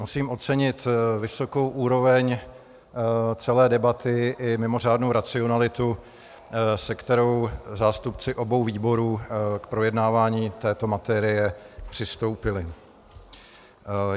Musím ocenit vysokou úroveň celé debaty i mimořádnou racionalitu, se kterou zástupci obou výborů k projednávání této materie přistoupili.